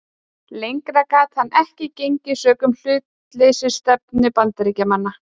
Lengra gat hann ekki gengið sökum hlutleysisstefnu Bandaríkjamanna.